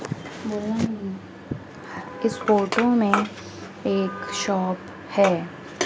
इस फोटो में एक शॉप है।